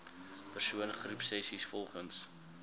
persoon groepsessies volgens